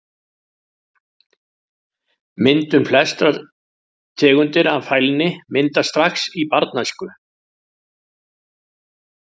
Myndun Flestar tegundir af fælni myndast strax í barnæsku.